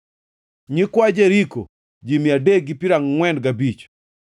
nyikwa Jeriko, ji mia adek gi piero angʼwen gabich (345),